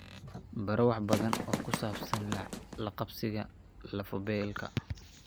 Baro wax badan oo ku saabsan la qabsiga lafo-beelka.